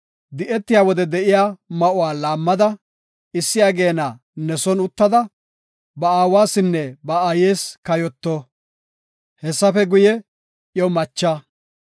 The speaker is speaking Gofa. di7etiya wode de7iya ma7uwa laammada, issi ageena ne son uttada, ba aawasinne ba aayes kayoto. Hessafe guye, iyo macha.